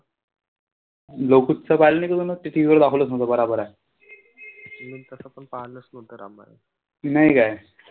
नाही काय?